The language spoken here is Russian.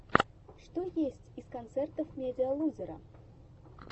что есть из концертов медиалузера